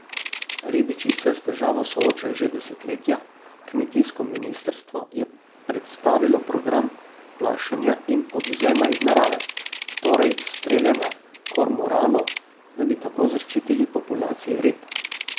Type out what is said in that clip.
Ribiči se s težavo soočajo že desetletja, kmetijsko ministrstvo je predstavilo program plašenja in odvzema iz narave, torej streljanja kormoranov, da bi tako zaščitili populacije rib.